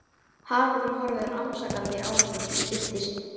Haraldur horfir rannsakandi á okkur til skiptis.